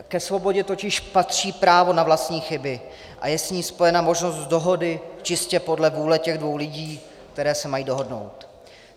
Ke svobodě totiž patří právo na vlastní chyby a je s ní spojena možnost dohody čistě podle vůle těch dvou lidí, kteří se mají dohodnout.